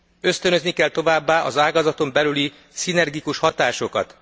Ösztönözni kell továbbá az ágazaton belüli szinergikus hatásokat.